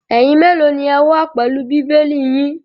Ẹ̀yin mélòó ni ẹ wà pẹ̀lú Bíbélì yín?